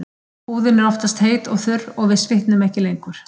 Húðin er því oftast heit og þurr og við svitnum ekki lengur.